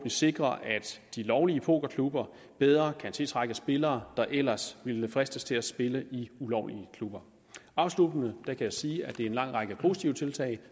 sikre at de lovlige pokerklubber bedre kan tiltrække spillere der ellers ville fristes til at spille i ulovlige klubber afsluttende kan jeg sige at det er en lang række positive tiltag